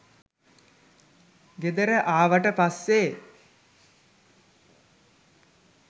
ගෙදර ආවට පස්සේ